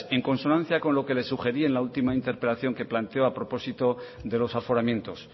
en consonancia con lo que le sugerí en la última interpelación que planteó a propósito de los aforamientos